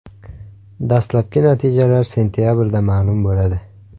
Dastlabki natijalar sentabrda ma’lum bo‘ladi.